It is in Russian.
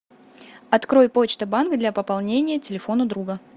открой почта банк для пополнения телефона друга